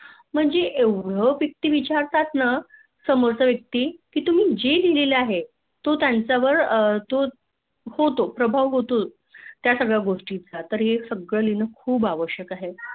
म्हणजे एवढं Deeply विहारात ना समोरचा व्यक्ती, कि तुम्ही जे लिहलेले आहे तो त्यांच्यावार होतो प्रभाव होतो त्या सगळ्या गोष्टीच. ततर हे सगळं लिहून आवश्यक आहे